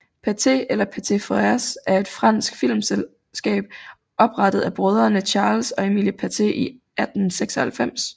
Pathé eller Pathé Frères er et fransk filmselskab oprettet af brødrene Charles og Emile Pathé i 1896